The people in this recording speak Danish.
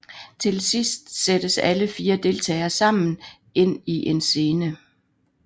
Til sidst sættes alle 4 deltagere sammen ind i en scene